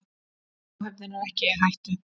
Áhöfnin er ekki í hættu.